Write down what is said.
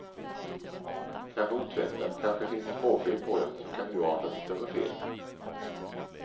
Kanske otvättad, kanske finns det småfel på den som kan urarta till större fel.